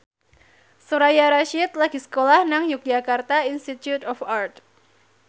Soraya Rasyid lagi sekolah nang Yogyakarta Institute of Art